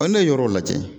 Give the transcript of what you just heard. ne ye yɔrɔ jate